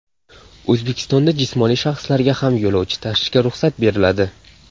O‘zbekistonda jismoniy shaxslarga ham yo‘lovchi tashishga ruxsat beriladi.